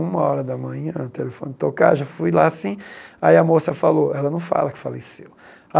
Uma hora da manhã, o telefone tocar, já fui lá assim, aí a moça falou, ela não fala que faleceu.